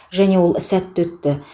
және ол сәтті өтті